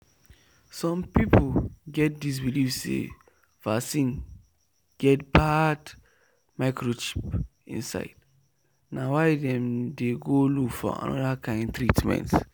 some people get this believe say vaccine get bad microchip inside na why dem dey go look for another kind treatment.